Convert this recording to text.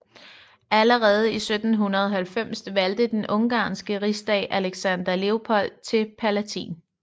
Allerede i 1790 valgte den ungarske rigsdag Alexander Leopold til palatin